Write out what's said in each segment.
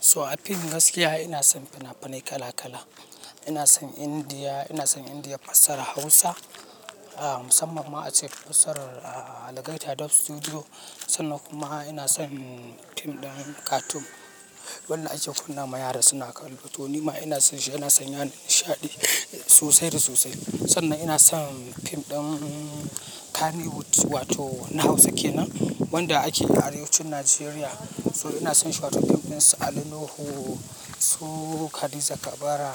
So a fim gaskiya ina son fina-finai kala kala. Ina son Indiya, ina son Indiya fassarar Hausa, ah, musamman ma ace fassarar, ah, algaita dub Studio. Sannan kuma ina son fim ɗin cartoon. Wannan ake kunna ma yara suna kallo. To ni ma ina son shi, yana sanya nishaɗi sosai da sosai. Sannan ina son fim ɗin Kannywood wato na Hausa kenan wanda ake a arewacin Najeriya. So ina son shi wato fim ɗin su Ali Nuhu, su Hadiza Kabara,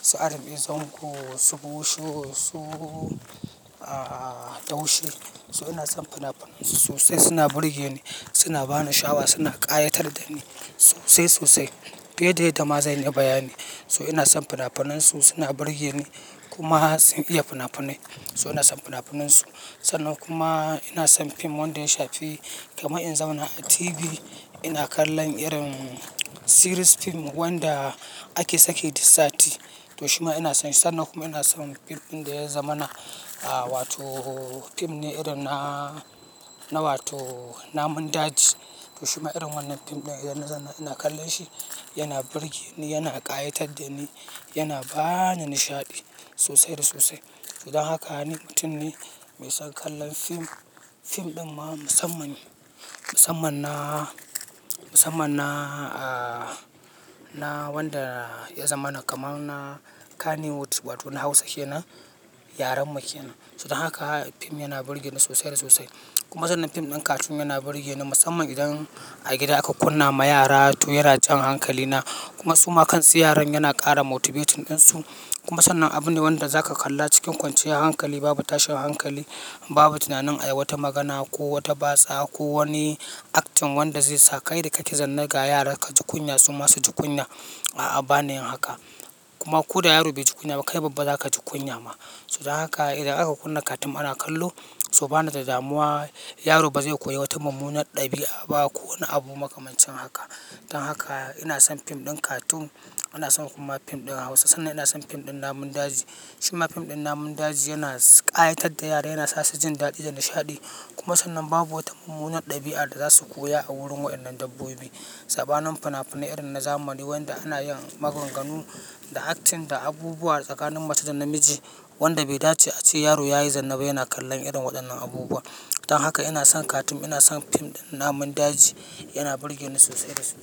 su Rb Zango, su Busho, su, ah, Daushie. So ina son fina-finan su sosai, suna burge ni, suna ba ni shawa, suna ƙayatar da ni sosai sosai. Fiye da yadda ma zan iya bayani. So ina son fina-finan su, suna burge ni kuma sun iya fina-finai. So ina son fina-finan su. Sannan kuma ina son fim wanda ya shafi kamar in zauna a TV ina kallon irin series fim wanda ake sake duk sati. To shima ina son shi. Sannan kuma ina son fim ɗin da ya zamana, ah, wato fim ne irin na, na wato namun daji. To shima irin wannan fim ɗin idan zan, ina kallon shi yana burge ni, yana ƙayatar da ni, yana ba ni nishaɗi sosai da sosai. To don haka ni mutum ne mai son kallon fim. Fim ɗin ma musammani. Musamman na, musamman na, ah, na wanda ya zamana kamar na Kannywood wato na Hausa kenan, yaren muke nan. Zuwa haka fim yana burge ni sosai da sosai. Kuma sannan fim ɗin cartoon yana burge ni musamman idan a gida aka kunna ma yara toh yara jan hankali na. Kuma su ma kansu yaron yana ƙara motivating ɗinsu. Kuma sannan abun ne wanda zaka kalla cikin kwanciyar hankali babu tashin hankali, babu tunanin ai wata magana ko wata batsa ko wani acting wanda zai saka kai da kake zanne ga yara ka ji kunya su ma su ji kunya. A'a, bani yin haka. Kuma ko da yaro bai ji kunya ba kai babba za ka ji kunya ma. To don haka idan aka kunna cartoon ana kallo, so bani da damuwa yaro ba zai koya wata mummunar ɗabi'a ba ko wani abu makamancin haka. Dan haka ina son fim ɗin cartoon, ina son kuma fim ɗin Hausa sannan ina son fim ɗin namun daji. Shima fim ɗin namun daji yana ƙayatar da yara, yana sa su jin daɗi da nishaɗi. Kuma sannan babu wata mummunar ɗabi'a da za su koya a wurin waɗannan dabbobi. Sabanin fina-finai irin na zamani wanda ana yin maganganu da acting da abubuwa tsakanin mace da namiji wanda bai dace a ce yaro ya yi zanne ba yana kallon irin waɗannan abubuwa. Dan haka ina son cartoon, ina son fim ɗin namun daji, yana burge ni sosai da sosai.